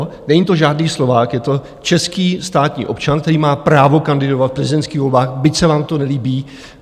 Není to žádný Slovák, je to český státní občan, který má právo kandidovat v prezidentských volbách, byť se vám to nelíbí.